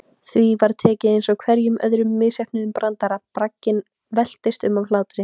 Því var tekið eins og hverjum öðrum misheppnuðum brandara, bragginn veltist um af hlátri.